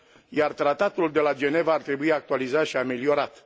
iar Tratatul de la Geneva ar trebui actualizat și ameliorat.